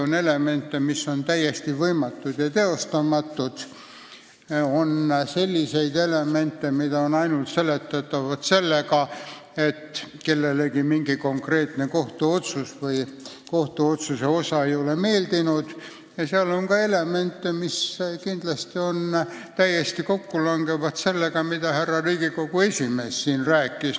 On elemente, mis on täiesti võimatud ja teostamatud, on elemente, mis on seletatavad ainult sellega, et kellelegi mingi konkreetne kohtuotsus või kohtuotsuse osa ei ole meeldinud, ja on ka elemente, mis langevad täiesti kokku sellega, mida härra Riigikohtu esimees siin rääkis.